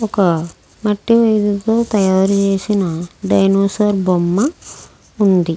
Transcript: ఒక మట్టి విగ్రహం తో తయారు చేసిన డైనోసార్ బొమ్మ వుంది.